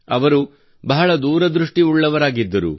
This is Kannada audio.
ಅವರು ಬಹಳ ದೂರದೃಷ್ಟಿಯುಳ್ಳವರಾಗಿದ್ದರು